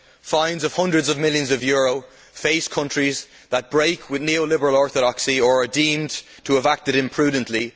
Fines of hundreds of millions of euros face countries that break with neo liberal orthodoxy or are deemed to have acted imprudently.